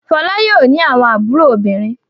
Fọlá yóò ní àwọn àbúrò obìnrin.